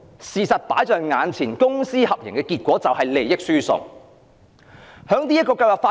事實放在眼前，公私合營的結果就是利益輸送。